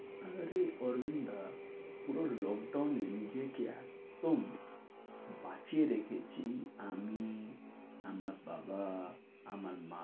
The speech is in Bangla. আরে অরবিন্দ দা, পুরো lockdown এ নিজেকে একদম বাঁচিয়ে রেখেছি আমি, আমার বাবা, আমার মা,